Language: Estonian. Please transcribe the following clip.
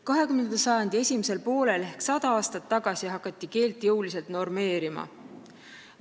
20. sajandi esimesel poolel ehk 100 aastat tagasi hakati keelt jõuliselt normeerima.